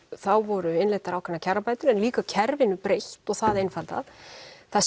þá voru innleiddar ákveðnar kjarabætur en líka kerfinu breytt og það einfaldað það